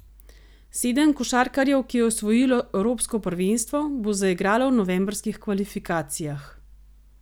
Sedem košarkarjev, ki je osvojilo evropsko prvenstvo, bo zaigralo v novembrskih kvalifikacijah.